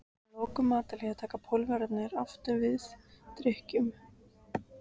Að loknu matarhléi taka Pólverjarnir aftur til við drykkju.